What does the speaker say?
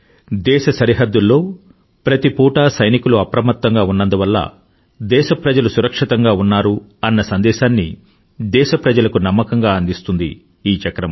దేశ సరిహద్దుల్లో ప్రతి పుటా సైనికులు అప్రమత్తంగా ఉన్నందువల్ల దేశ ప్రజలు సురక్షితంగా ఉన్నారు అన్న సందేశాన్ని దేశప్రజలకు నమ్మకంగా అందిస్తుంది ఈ చక్రం